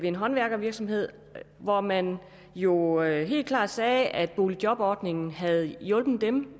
en håndværkervirksomhed hvor man jo helt klart sagde at boligjobordningen havde hjulpet dem